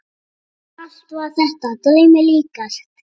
Allt var þetta draumi líkast.